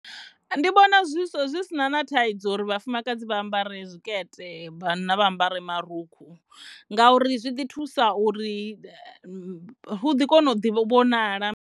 Ndi vhona zwi si na na thaidzo uri vhafumakadzi vha ambare zwikete vhanna vha ambare marukhu ngauri zwi ḓi thusa uri hu ḓi kone u vhonala.